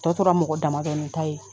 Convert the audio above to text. Tɔ tora mɔgɔ damadɔnin ta ye